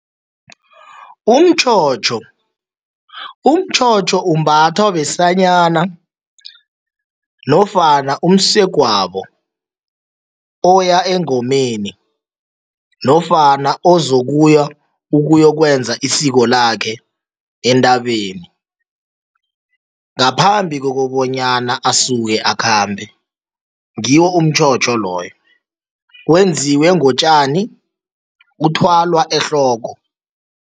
Umtjhotjho, umtjhotjho umbathwa besanyana nofana umsegwabo oya engomeni nofana ozokuya ukuyokwenza isiko lakhe entabeni ngaphambi kokobanyana asuke akhambe, ngiwo umtjhotjho loyo. Wenziwe ngotjani, uthwalwa ehloko.